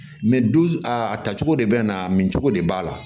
dusu a ta cogo de bɛ na min cogo de b'a la